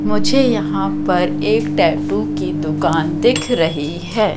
मुझे यहां पर एक टैटू की दुकान दिख रही है।